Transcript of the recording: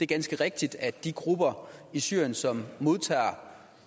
ganske rigtigt at de grupper i syrien som modtager